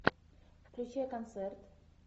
включай концерт